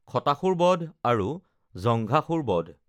খটাসুৰ বধ আৰু জঙ্ঘাসুৰ বধ